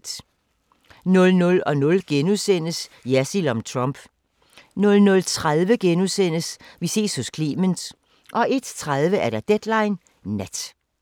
00:00: Jersild om Trump * 00:30: Vi ses hos Clement * 01:30: Deadline Nat